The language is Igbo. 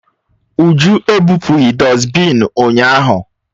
Uju ebụpụghị dọsbịn ụnyahụ